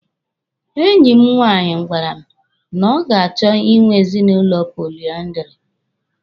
Enyi m nwaanyị gwara m na ọ ga-achọ Ị nwe ezinụlọ poliandiri.